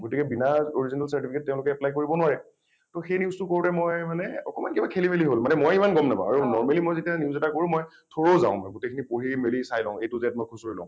গতিকে বিনা original certificate তেওঁলোকে apply কৰিব নোৱাৰে । সেই news টো কৰোতে মই মানে অকণমান কিবা খেলিমেলি হল । মানে মই ইমান গম নাপাওঁ আৰু normally মই যেতিয়া news এটা কৰোঁ মই thorough যাওঁ মই ।গোটেইখিনি পঢ়ি মেলি মই চাই লওঁ a to z মই খুচুৰি লওঁ ।